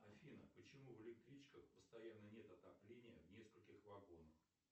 афина почему в электричках постоянно нет отопления в нескольких вагонах